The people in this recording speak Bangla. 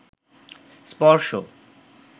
স্পর্শ